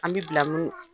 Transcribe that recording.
An bi bila mun na